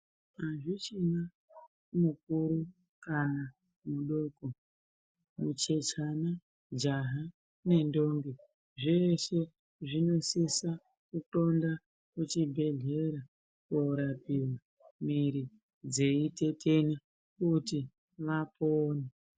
Hazvichina mukuru kana mudoko, muchechana, jaha nendombi .Zveeshe ,zvinosisa kuxonda kuchibhedhlera koorapiwa mwiiri dzeitetena kuti vapone.